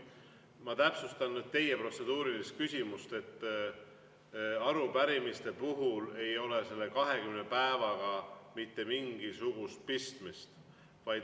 Ma täpsustan teie protseduurilise küsimuse peale, et arupärimiste puhul ei ole selle 20 päevaga mitte mingisugust pistmist.